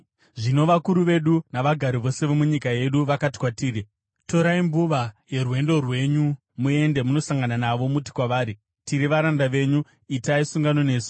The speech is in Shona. Zvino vakuru vedu navagari vose vomunyika yedu vakati kwatiri, ‘Torai mbuva yerwendo rwenyu; muende munosangana navo muti kwavari, “Tiri varanda venyu; itai sungano nesu.” ’